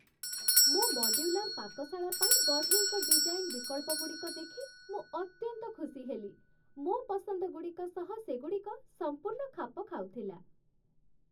ମୋ ମଡ୍ୟୁଲାର ପାକଶାଳା ପାଇଁ ବଢ଼େଇଙ୍କ ଡିଜାଇନ୍ ବିକଳ୍ପଗୁଡ଼ିକ ଦେଖି ମୁଁ ଅତ୍ୟନ୍ତ ଖୁସି ହେଲି। ମୋ' ପସନ୍ଦଗୁଡ଼ିକ ସହ ସେଗୁଡ଼ିକ ସମ୍ପୂର୍ଣ୍ଣ ଖାପ ଖାଉଥିଲା!